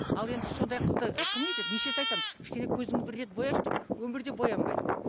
ал енді сондай қызды кім не етеді неше рет айтамын кішкене көзіңді бір рет бояшы деп өмірде боянбайды